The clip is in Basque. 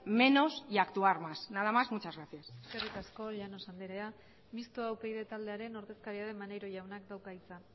menos y actuar más nada más muchas gracias eskerrik asko llanos andrea mistoa upyd taldearen ordezkaria den maneiro jaunak dauka hitza